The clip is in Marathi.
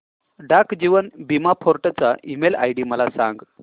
डाक जीवन बीमा फोर्ट चा ईमेल आयडी मला सांग